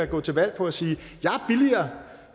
gå til valg på at sige